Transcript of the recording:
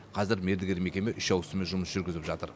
қазір мердігер мекеме үш ауысыммен жұмыс жүргізіп жатыр